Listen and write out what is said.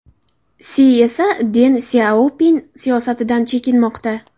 Si esa Den Syaopin siyosatidan chekinmoqda.